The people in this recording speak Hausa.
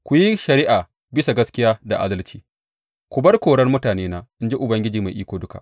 Ku yi shari’a bisa ga gaskiya da adalci, ku bar korar mutanena, in ji Ubangiji Mai Iko Duka.